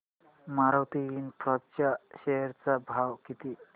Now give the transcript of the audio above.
Maruti infra च्या share चा भाव किती